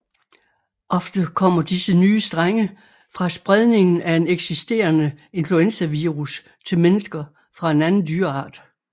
Ofte kommer disse nye strenge fra spredningen af en eksisterende influenzavirus til mennesker fra en anden dyreart